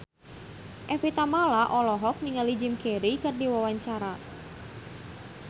Evie Tamala olohok ningali Jim Carey keur diwawancara